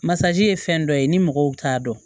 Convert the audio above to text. Masaji ye fɛn dɔ ye ni mɔgɔw t'a dɔn